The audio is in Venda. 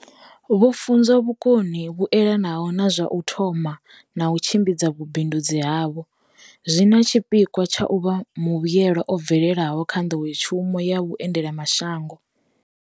Vho funzwa vhukoni vhu elanaho na zwa u thoma na u tshimbidza vhubindudzi havho, zwi na tshipikwa tsha u vha muvhuelwa o bvelelaho kha nḓowetshumo ya vhue ndelamashango.